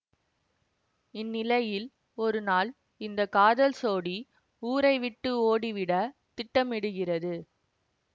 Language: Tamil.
இந்நிலையில் ஒருநாள் இந்த காதல் சோடி ஊரை விட்டு ஓடிவிட திட்டமிடுகிறது